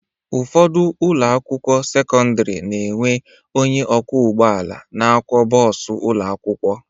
Ụfọdụ ụlọakwụkwọ sekọndịrị na-enwe onye ọkwọụgwụ na-akwọ bọọsụ ụlọakwụkwọ